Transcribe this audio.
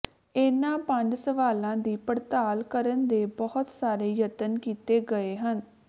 ਇਨ੍ਹਾਂ ਪੰਜਾਂ ਸਵਾਲਾਂ ਦੀ ਪੜਤਾਲ ਕਰਨ ਦੇ ਬਹੁਤ ਸਾਰੇ ਯਤਨ ਕੀਤੇ ਗਏ ਹਨ